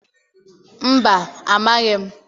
Mba, amaghị m